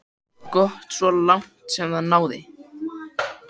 Gott svo langt sem það náði.